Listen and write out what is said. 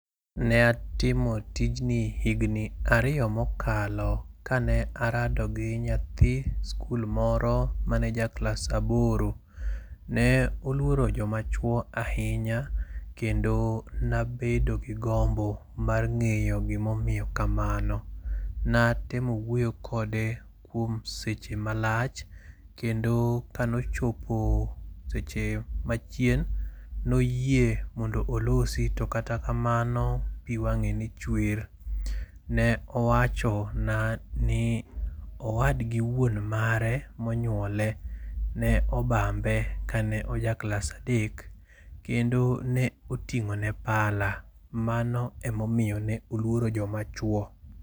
ne atimo tijni higni ariyo mokalo kane arado gi nyathi skul moro mane ja klas aboro. Ne oluoro joma chuo ahinya kendo nabedo gi gombo mar ng'eyo gimomiyo kamano. Natemo wuoyo kode kuom seche malach, kendo kanochopo seche machienm noyie mondo olosi to kata kamano pi wang'e ne chwer. Ne owacho na ni owadgi wuon mare monyuole, ne obambe kane ojaklas a dek. Kendo ne oting'o ne pala, mano emomiyo ne oluoro joma chuo.